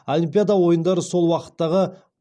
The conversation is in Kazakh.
олимпиада ойындары сол уақыттағы